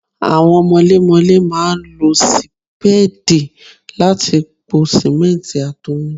Àwọn mọlémọlé máa ń lo sì Sípéèdì láti po sìmẹ́ǹtì àti omi.